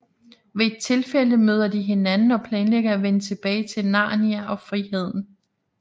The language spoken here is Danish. Ved et tilfælde møder de hinanden og planlægger at vende tilbage til Narnia og friheden